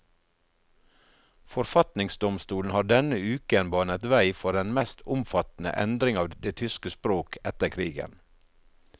Forfatningsdomstolen har denne uken banet vei for den mest omfattende endring av det tyske språk etter krigen.